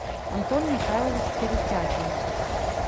антон михайлович перетягин